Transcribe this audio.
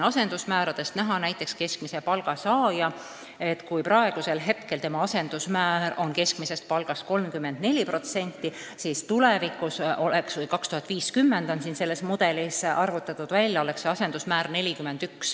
Asendusmääradest on näha, et keskmise palga saaja puhul on tema asendusmäär keskmisest palgast 34%, aastal 2050 aga selle mudeli järgi 41%.